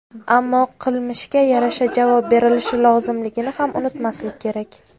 Ammo qilmishga yarasha javob berilishi lozimligini ham unutmaslik kerak.